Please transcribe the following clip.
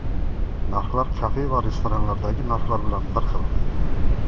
Narxlar kafe va restoranlardagi narxlar bilan bir xil.